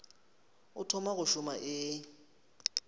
o thoma go šoma e